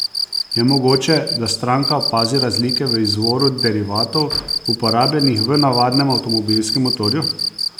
Je mogoče, da stranka opazi razlike v izvoru derivatov, uporabljenih v navadnem avtomobilskem motorju?